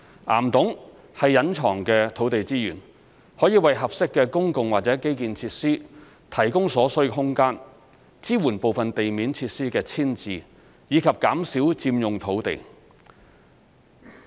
岩洞是隱藏的土地資源，可為合適的公共或基建設施提供所需空間，支援部分地面設施的遷置，以及減少佔用土地。